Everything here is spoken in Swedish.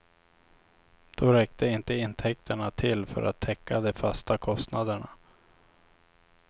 Då räckte inte intäkterna till för att täcka de fasta kostnaderna.